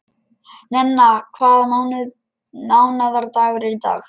Nenna, hvaða mánaðardagur er í dag?